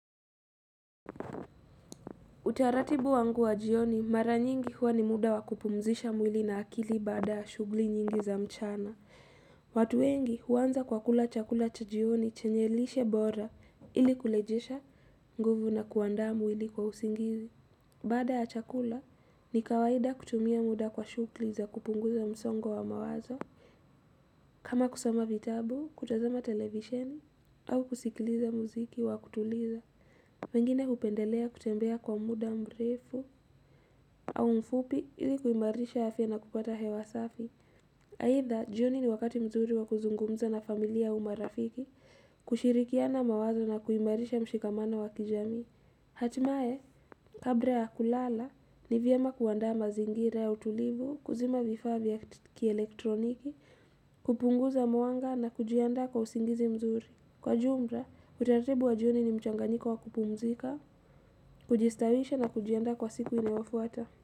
Utaratibu wangu wa jioni mara nyingi huwa ni muda wa kupumzisha mwili na akili baada ya shughuli nyingi za mchana watu wengi huanza kwa kula chakula cha jioni chenye lishe bora ili kurejesha nguvu na kuandaa mwili kwa usingizi Baada ya chakula ni kawaida kutumia muda kwa shughuli za kupunguza msongo wa mawazo kama kusoma vitabu, kutazama televisheni au kusikiliza muziki wa kutuliza mengine hupendelea kutembea kwa muda mrefu au mfupi ili kuimarisha afya na kupata hewa safi. Aitha, jioni ni wakati mzuri wa kuzungumza na familia au marafiki, kushirikiana mawazo na kuimarisha mshikamano wa kijamii. Hatimaye, kabla ya kulala, ni vyema kuandaa mazingira ya utulivu, kuzima vifaa vya kielektroniki, kupunguza mwanga na kujiandaa kwa usingizi mzuri. Kwa jumla, utaratibu wa jioni ni mchanganyiko wa kupumzika. Kujistawisha na kujiandaa kwa siku inayoafuata.